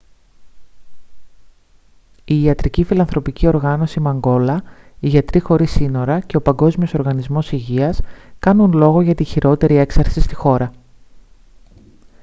η ιατρική φιλανθρωπική οργάνωση μανγκόλα οι γιατροί χωρίς σύνορα και ο παγκόσμιος οργανισμός υγείας κάνουν λόγο για τη χειρότερη έξαρση στη χώρα